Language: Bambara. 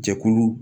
Jɛkulu